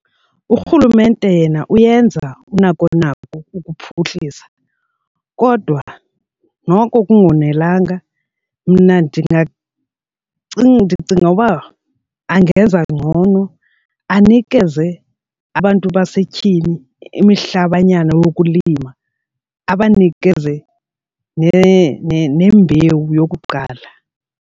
Urhulumente yena uyenza unako nako ukuphuhlisa kodwa noko kungonelanga mna ndicinga uba angenza ngcono anikeze abantu basetyhini imihlabanyana wokulima abanikeze nembewu yokuqala.